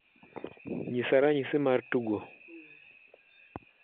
Nyisa ranyisi mar tugo